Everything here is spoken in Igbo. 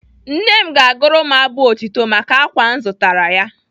Nne m ga-agụrụ m abụ otito maka ákwà m zụtara ya.